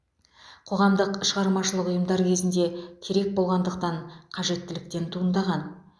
қоғамдық шығармашылық ұйымдар кезінде керек болғандықтан қажеттіліктен туындаған